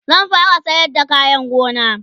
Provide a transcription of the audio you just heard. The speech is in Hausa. zan fara sayar da kayan gona